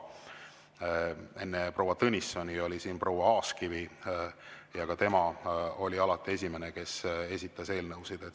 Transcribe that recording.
Enne proua Tõnissoni oli siin proua Aaskivi ja ka tema oli alati esimene, kes esitas eelnõusid.